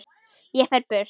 Ég fer burt.